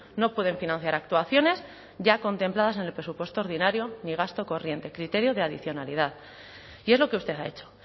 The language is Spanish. no pueden financiar actuaciones ya contempladas en el presupuesto ordinario ni gasto corriente criterio de adicionalidad y es lo que usted ha hecho